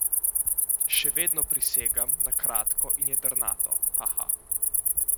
Še vedno prisegam na kratko in jedrnato, haha.